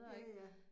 Ja ja